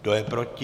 Kdo je proti?